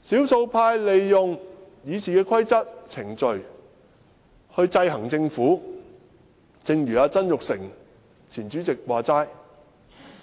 少數派利用《議事規則》和程序制衡政府，正如前主席曾鈺成所說，